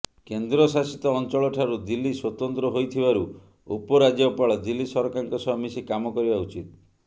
କେନ୍ଦ୍ରଶାସିତ ଅଂଚଳଠାରୁ ଦିଲ୍ଲୀ ସ୍ୱତନ୍ତ୍ର ହୋଇଥିବାରୁ ଉପରାଜ୍ୟପାଳ ଦିଲ୍ଲୀ ସରକାରଙ୍କ ସହ ମିଶି କାମ କରିବା ଉଚିତ